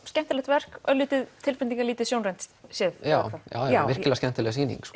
skemmtilegt verk örlítið tilbreytingarlítið sjónrænt séð já já já virkilega skemmtileg sýning